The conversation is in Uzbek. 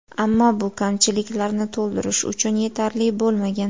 Ammo bu kamchiliklarni to‘ldirish uchun yetarli bo‘lmagan.